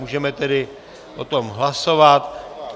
Můžeme tedy o tom hlasovat.